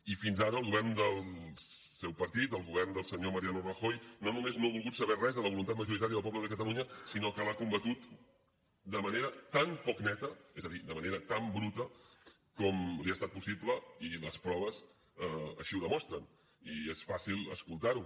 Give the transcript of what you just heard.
i fins ara el govern del seu partit el govern del senyor mariano rajoy no només no ha volgut saber res de la voluntat majoritària del poble de catalunya sinó que l’ha combatut de manera tan poc neta és a dir de manera tan bruta com li ha estat possible i les proves així ho demostren i és fàcil escoltar ho